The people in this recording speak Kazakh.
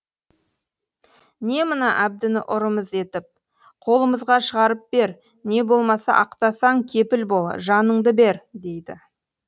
не мына әбдіні ұрымыз етіп қолымызға шығарып бер не болмаса ақтасаң кепіл бол жаныңды бер дейді